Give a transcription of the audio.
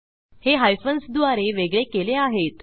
हे हायफन्स द्वारे वेगळे केले आहेत